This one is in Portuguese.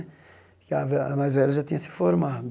Que a a mais velha já tinha se formado.